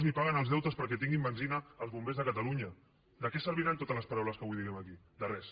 ni paguen els deutes perquè tinguin benzina els bombers de catalunya de què serviran totes les paraules que avui diguem aquí de res